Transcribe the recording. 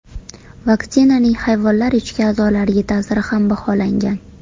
Vaksinaning hayvonlar ichki a’zolariga ta’siri ham baholangan.